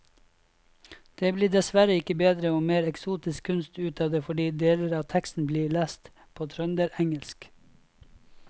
Det blir dessverre ikke bedre og mer eksotisk kunst ut av det fordi deler av teksten blir lest på trønderengelsk.